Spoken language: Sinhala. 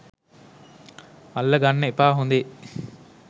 අල්ල ගන්න එපා හොදේ.